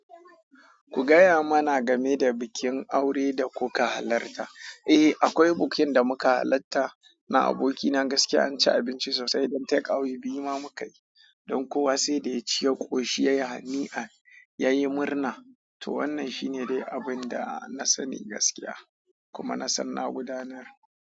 Ku gaya mana game da bikin aure da kuka halarta. Eh, akwai bukin da muka halatta na aboki na gaskya an ci abinci sosai, don takeaway biyu ma mukayi, don kowa saida yaci ya koshi, yayi hani'an to wannan shine dai abunda nasani gaskiya, kuma nasan na gudanar.